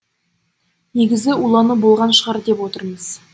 негізі улану болған шығар деп отырмыз